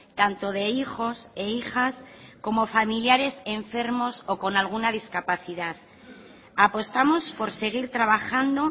tanto de hijos e hijas como familiares enfermos o con alguna discapacidad apostamos por seguir trabajando